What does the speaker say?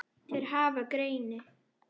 Þeir hafa greini